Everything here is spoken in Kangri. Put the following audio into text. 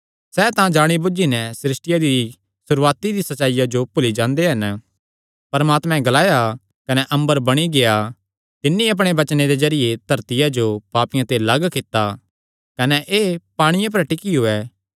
सैह़ तां जाणी बुझी नैं सृष्टिया दी सुरूआती दिया सच्चाईया जो भुल्ली जांदे हन परमात्मैं ग्लाया कने अम्बर बणी गेआ तिन्नी अपणे वचने दे जरिये धरतिया जो पांणिये ते लग्ग कित्ता कने एह़ पांणिये पर ई टिक्कियो ऐ